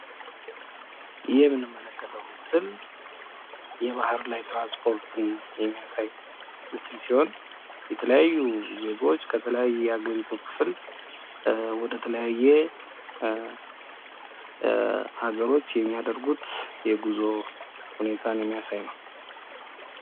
ይህ የምንመለከትው ምስል የባህር ላይ ትራንስፖርትን የሚያሳይ ምስል ሲሆን የተለያዩ ዜጎች ከተለያየ ሀገሪቱ ክፍል ወደተለያየ ሃገሮች የሚያደርጉት የጉዞ ሁኔታን የሚያሳይ ነው